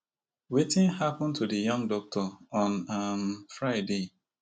wetin happun to di young doctor on um friday